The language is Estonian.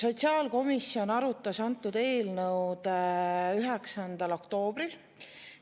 Sotsiaalkomisjon arutas antud eelnõu 9. oktoobril.